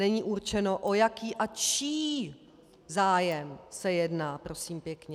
Není určeno, o jaký a čí zájem se jedná, prosím pěkně.